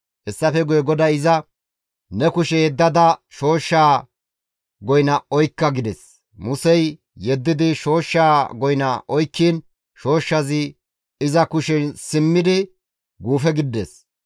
Hessafe guye GODAY iza, «Ne kushe yeddada shooshshaa goyna oykka» gides. Musey yeddidi shooshshaa goyna oykkiin shooshshazi iza kushen simmidi guufe gidides.